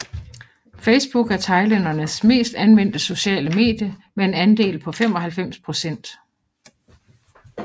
Facebook er thailændernes mest anvendte sociale medie med en andel på 95 procent